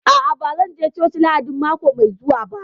A'a, ba zan je coci Lahadin mako mai zuwa ba